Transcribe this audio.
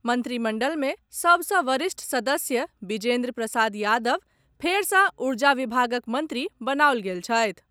मंत्रिमंडल मे सभ सँ वरिष्ठ सदस्य बिजेन्द्र प्रसाद यादव फेर सँ ऊर्जा विभागक मंत्री बनाओल गेल छथि।